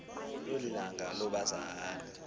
longilanga lo bazana